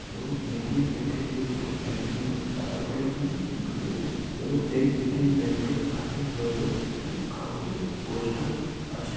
এবং ATM. Bank -এর ভেতরে একজন লোক টাকা তোলার জন্য ঢুকেছে এবং এই এ.টি.এম. ব্যাংক -এর কাঁচের দরজায় একটি কাগজের পোস্টার আছে।